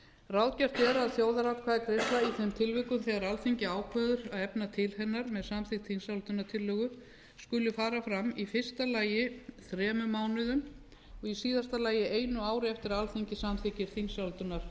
ráðgert er að þjóðaratkvæðagreiðsla í þeim tilvikum þegar alþingi ákveður að efna til hennar með samþykkt þingsályktunartillögu skuli fara fram í fyrsta lagi þremur mánuðum og í síðasta lagi einu ári eftir að alþingi samþykkir